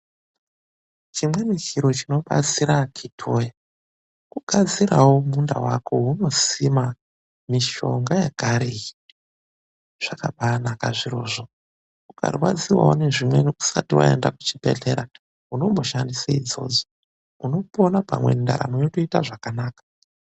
Chimweni chiro chinobatsira akhiti woye, kugadzirawo munda wako weunosima mishonga yekare iyi. Zvakabaanaka zvirozvo. Ukarwadziwawo nezvimweni, usati waenda kuchibhedhlera unomboshandise izvozvo. Unopona pamwe ndaramo yotoita zvakanaka.